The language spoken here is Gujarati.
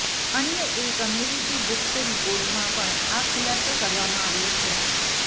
અન્ય એક અમેરિકી ગુપ્ત રિપોર્ટમાં પણ આ ખુલાસો કરવામાં આવ્યો છે